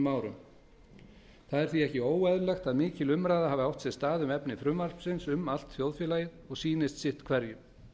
það er því ekki óeðlilegt að mikil umræða hafi átt sér stað um efni frumvarpsins um allt þjóðfélagið og sýnist sitt hverjum